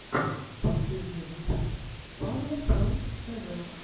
последний выпуск павла про тв